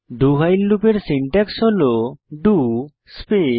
do while লুপের syntax হল do space